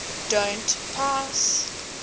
don t pass